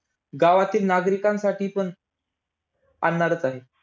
अशा नद्या डोंगराळ प्रदेशात आढळतात.